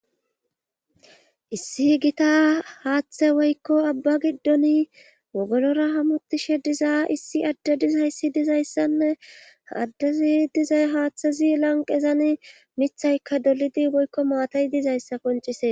issi gita haaththe woykko abba giddon wogolora hamutishe diza issi adde dizayssi dizayssanne ha addezi dizay haaththezi lanqezan mithayka dolidi boykko maatay dizayssa koncise